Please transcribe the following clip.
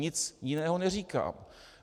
Nic jiného neříkám.